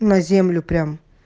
на землю прям